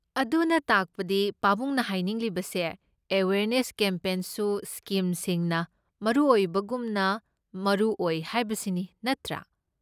ꯑꯗꯨꯅ ꯇꯥꯛꯄꯗꯤ ꯄꯥꯕꯨꯡꯅ ꯍꯥꯏꯅꯤꯡꯂꯤꯕꯁꯦ ꯑꯋꯦꯌꯔꯅꯦꯁ ꯀꯦꯝꯄꯦꯟꯁꯨ ꯁ꯭ꯀꯤꯝꯁꯤꯡꯅ ꯃꯔꯨ ꯑꯣꯏꯕꯒꯨꯝꯅ ꯃꯔꯨ ꯑꯣꯏ ꯍꯥꯏꯕꯁꯤꯅꯤ ꯅꯠꯇ꯭ꯔꯥ?